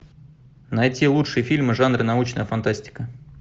найти лучшие фильмы жанра научная фантастика